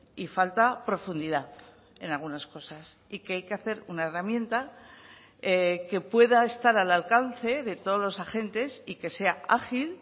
y falta profundidad en algunas cosas y que hay que hacer una herramienta que pueda estar al alcance de todos los agentes y que sea ágil